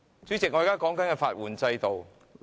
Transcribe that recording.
主席，我正論述法援制度。